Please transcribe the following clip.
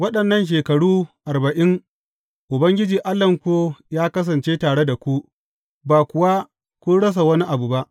Waɗannan shekaru arba’in Ubangiji Allahnku ya kasance tare da ku, ba kuwa kun rasa wani abu ba.